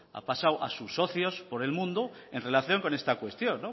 ha pasado a sus socios por el mundo en relación con esta cuestión